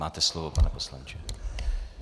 Máte slovo, pane poslanče.